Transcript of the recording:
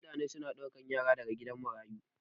mutane suna daukan Yara daga gidan marayu